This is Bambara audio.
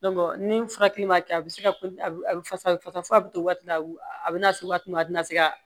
ni furakɛli ma kɛ a bɛ se ka a fasa fasa fo ka to waati la a bɛ na se waati min na a tɛna se ka